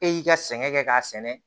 E y'i ka sɛgɛn kɛ k'a sɛnɛ